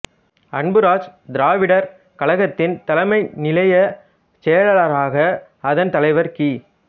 அன்புராஜ் திராவிடர் கழகத்தின் தலைமை நிலையச் செயலளராக அதன் தலைவர் கி